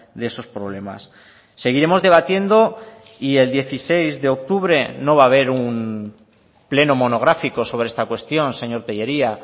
de esos problemas seguiremos debatiendo y el dieciséis de octubre no va a haber un pleno monográfico sobre esta cuestión señor tellería